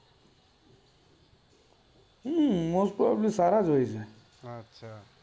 હમ્મ mostly સારા હોય છે